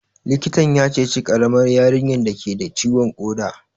Likitan ya ceci ƙaramar yarinyar dake da ciwon ƙoda